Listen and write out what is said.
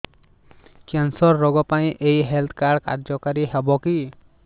cancer ରୋଗ ପାଇଁ ଏଇ ହେଲ୍ଥ କାର୍ଡ କାର୍ଯ୍ୟକାରି ହେବ କି